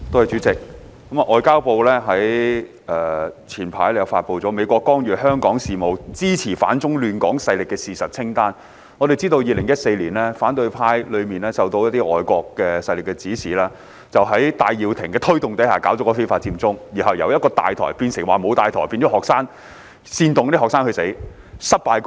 主席，外交部早前發出了"美國干預香港事務、支持反中亂港勢力事實清單"，而我們也知道反對派在2014年受到一些外國勢力的指示，在戴耀廷的推動下進行非法佔中活動，其後再由一個"大台"變成沒有"大台"，煽動學生犯法，並以失敗告終。